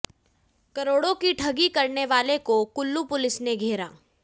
करोड़ों की ठगी करने वालों को कुल्लू पुलिस ने घेरा